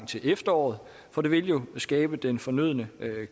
til efteråret for det vil jo skabe den fornødne